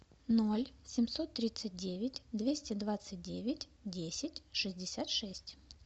ноль семьсот тридцать девять двести двадцать девять десять шестьдесят шесть